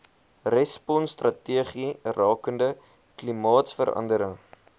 responsstrategie rakende klimaatsverandering